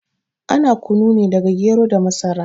Ana kunu ne daga gero da masara